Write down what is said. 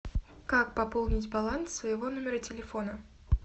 как пополнить баланс своего номера телефона